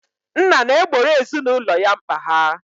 Nna na-egboro ezinụlọ ya mkpa ha.